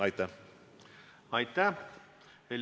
Aitäh!